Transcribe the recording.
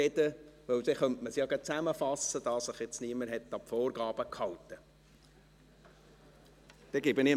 – Denn dann könnte man es ja gleich zusammenfassen, da sich jetzt niemand an die Vorgaben gehalten hat.